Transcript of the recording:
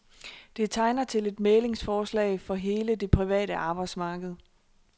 Det tegner til et mæglingsforslag for hele det private arbejdsmarked.